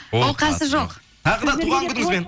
оқасы жоқ тағы да туған күніңізбен